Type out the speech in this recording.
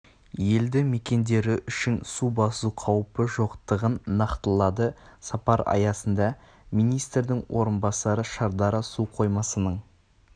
елді мекендері үшін су басу қауіпі жоқтығын нақтылады сапар аясында министрдің орынбасары шардара су қоймасының